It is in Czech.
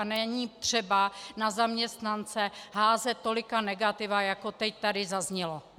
A není třeba na zaměstnance házet tolika negativa, jako teď tady zaznělo.